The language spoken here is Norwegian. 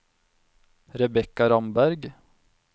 Rebekka Ramberg